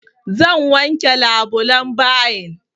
Zan wanke labulan bayin.